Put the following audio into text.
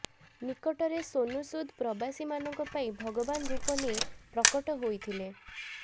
ନିକଟରେ ସୋନୁ ସୁଦ ପ୍ରବାସୀମାନଙ୍କ ପାଇଁ ଭଗବାନ ରୂପ ନେଇ ପ୍ରକଟ ହୋଇଥିଲେ